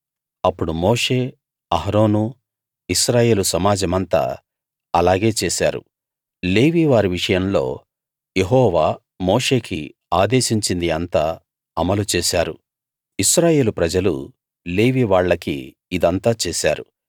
అప్పుడు మోషే అహరోనూ ఇశ్రాయేలు సమాజమంతా అలాగే చేశారు లేవీ వారి విషయంలో యెహోవా మోషేకి ఆదేశించింది అంతా అమలు చేశారు ఇశ్రాయేలు ప్రజలు లేవీ వాళ్లకి ఇదంతా చేశారు